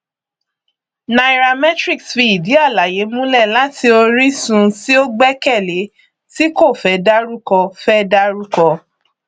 nairametrics fi ìdí àlàyé múlẹ láti orísun tí ó gbẹkẹlé tí kò fẹ dárúkọ fẹ dárúkọ